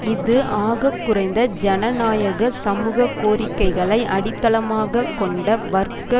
இது ஆகக்குறைந்த ஜனநாயக சமூக கோரிக்கைகளை அடித்தளமாக கொண்ட வர்க்க